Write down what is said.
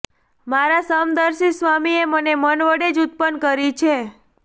મારા સમદર્શી સ્વામીએ મને મન વડે જ ઉત્પન્ન કરી છે